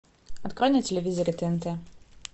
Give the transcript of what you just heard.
открой на телевизоре тнт